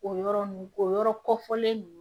O yɔrɔ nn o yɔrɔ kɔfɔlen ninnu